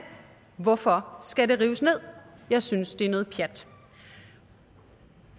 hvorfor skal det rives ned jeg synes at det er noget pjat